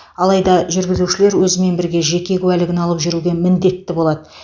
алайда жүргізушілер өзімен бірге жеке куәлігін алып жүруге мндетті болады